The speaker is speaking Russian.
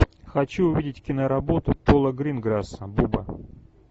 хочу увидеть киноработу пола гринграсса буба